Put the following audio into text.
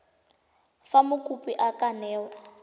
fa mokopi a ka newa